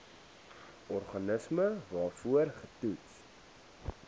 organisme waarvoor getoets